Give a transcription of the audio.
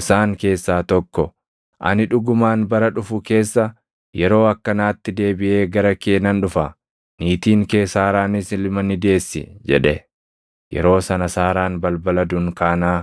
Isaan keessaa tokko, “Ani dhugumaan bara dhufu keessa yeroo akkanaatti deebiʼee gara kee nan dhufa; niitiin kee Saaraanis ilma ni deessi” jedhe. Yeroo sana Saaraan balbala dunkaanaa